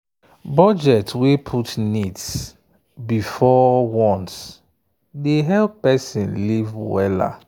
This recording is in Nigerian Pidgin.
budget wey put needs before wants dey help person live well.